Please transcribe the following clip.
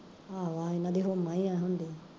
ਆਹੋ ਏਨਾ ਦੀ ਹੂੰਮਾ ਈ ਐਂ ਹੁੰਦੀ